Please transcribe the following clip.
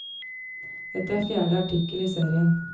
Dette er fjerde artikkel i serien.